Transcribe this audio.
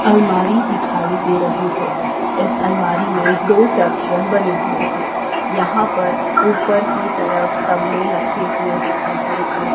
अलमारी दिखाई दे रही है इस अलमारी में दो सेक्शन बने हुए हैं यहां पर ऊपर की तरफ तबले लखे हुए दिख रहे हैं।